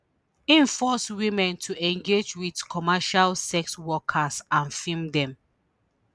im force women to engage wit commercial sex workers and film dem